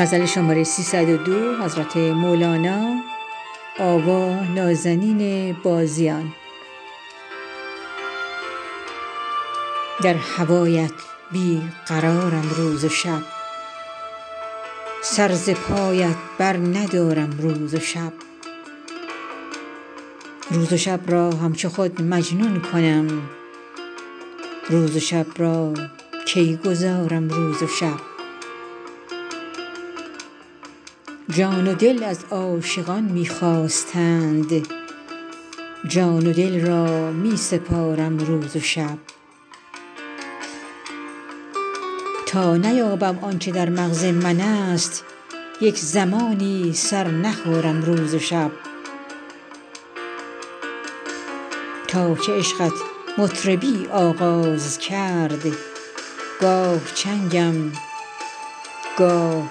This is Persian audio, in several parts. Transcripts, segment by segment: در هوایت بی قرارم روز و شب سر ز پایت برندارم روز و شب روز و شب را همچو خود مجنون کنم روز و شب را کی گذارم روز و شب جان و دل از عاشقان می خواستند جان و دل را می سپارم روز و شب تا نیابم آن چه در مغز منست یک زمانی سر نخارم روز و شب تا که عشقت مطربی آغاز کرد گاه چنگم گاه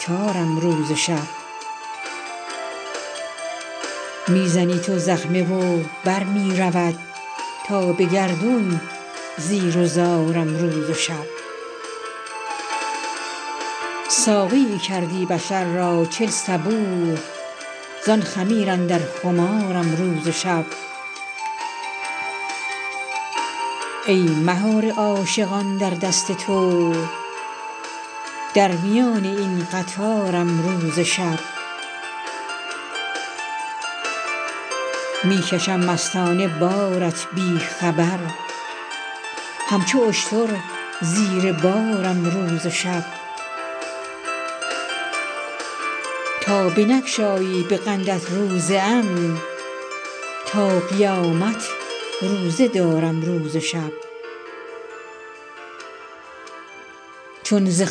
تارم روز و شب می زنی تو زخمه و بر می رود تا به گردون زیر و زارم روز و شب ساقیی کردی بشر را چل صبوح زان خمیر اندر خمارم روز و شب ای مهار عاشقان در دست تو در میان این قطارم روز و شب می کشم مستانه بارت بی خبر همچو اشتر زیر بارم روز و شب تا بنگشایی به قندت روزه ام تا قیامت روزه دارم روز و شب چون ز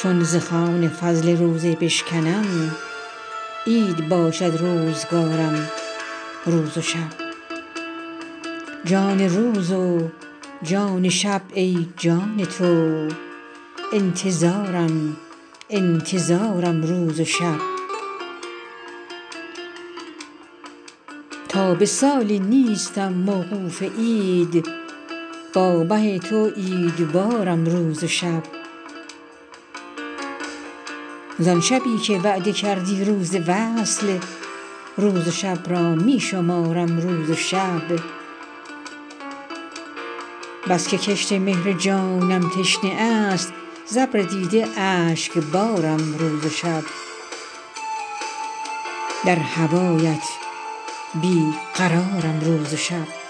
خوان فضل روزه بشکنم عید باشد روزگارم روز و شب جان روز و جان شب ای جان تو انتظارم انتظارم روز و شب تا به سالی نیستم موقوف عید با مه تو عیدوارم روز و شب زان شبی که وعده کردی روز وصل روز و شب را می شمارم روز و شب بس که کشت مهر جانم تشنه است ز ابر دیده اشکبارم روز و شب